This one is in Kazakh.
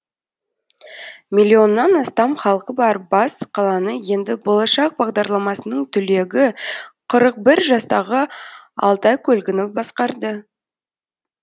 миллионнан астам халқы бар бас қаланы енді болашақ бағдарламасының түлегі қырық бір жастағы алтай көлгінов басқарды